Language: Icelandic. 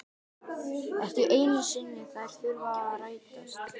Ekki einu sinni þær þurfa að rætast.